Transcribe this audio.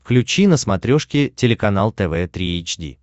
включи на смотрешке телеканал тв три эйч ди